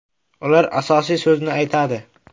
Ular asosiy so‘zni aytadi.